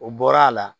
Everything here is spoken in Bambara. O bɔra a la